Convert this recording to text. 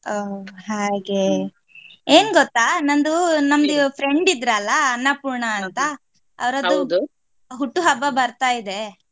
ಹಾ ಹಾಗೆ ಏನ್ ಗೊತ್ತ ನಂದು ನಮ್ದು friend ಇದ್ರಲ್ಲ ಅನ್ನಪೂರ್ಣ ಅಂತ ಅವರದು ಹುಟ್ಟುಹಬ್ಬ ಬರ್ತಾ ಇದ್ದೆ.